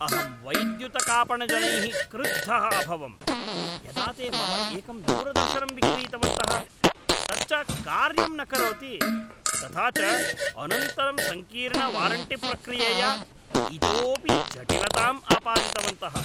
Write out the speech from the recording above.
अहं वैद्युतकापणजनैः क्रुद्धः अभवम् यदा ते मम एकं दूरदर्शनं विक्रीतवन्तः । तच्च कार्यं न करोति । तथा च अनन्तरं सङ्कीर्णवारण्टिप्रक्रियया इतोपि जटिलताम् आपादितवन्तः ।